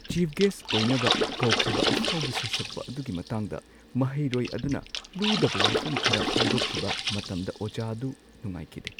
Chief guest ꯑꯣꯏꯅꯕ ꯀꯧꯈꯤꯕ ꯑꯐꯥꯎꯕ ꯁꯩꯁꯛꯄ ꯑꯗꯨꯒꯤ ꯃꯇꯥꯡꯗ ꯃꯍꯩꯔꯣꯏ ꯑꯗꯨꯅ ꯂꯨꯗꯕ ꯋꯥꯐꯝ ꯈꯔ ꯐꯣꯡꯗꯣꯛꯈꯤꯕ ꯃꯇꯝꯗ ꯑꯣꯖꯥ ꯑꯗꯨ ꯅꯨꯡꯉꯥꯏꯈꯤꯗꯦ ꯫